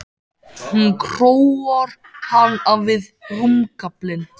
Hún króar hann af við rúmgaflinn.